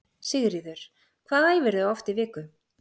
Sigríður: Hvað æfirðu oft í viku?